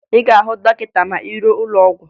Ị ga-ahụ dọkịta ma ị ruo n'ụlọ ọgwụ